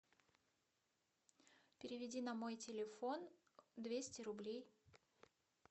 переведи на мой телефон двести рублей